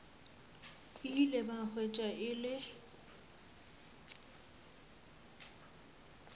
ile ba hwetša e le